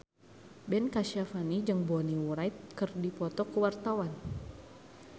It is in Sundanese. Ben Kasyafani jeung Bonnie Wright keur dipoto ku wartawan